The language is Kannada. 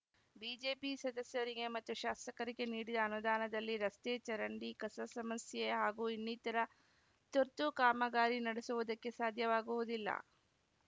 ಬಿಜೆಪಿ ಸದಸ್ಯರಿಗೆ ಮತ್ತು ಶಾಸಕರಿಗೆ ನೀಡಿದ ಅನುದಾನದಲ್ಲಿ ರಸ್ತೆ ಚರಂಡಿ ಕಸ ಸಮಸ್ಯೆ ಹಾಗೂ ಇನ್ನಿತರ ತುರ್ತು ಕಾಮಗಾರಿ ನಡೆಸುವುದಕ್ಕೆ ಸಾಧ್ಯವಾಗುವುದಿಲ್ಲ